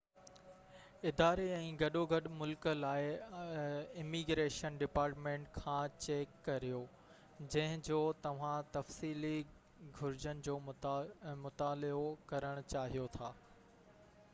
اداري ۽ گڏوگڏ ملڪ لاءِ اميگريشن ڊپارٽمينٽ کان چيڪ ڪريو جنهن جو توهان تفصيلي گهرجن جو مطالعو ڪرڻ چاهيو ٿا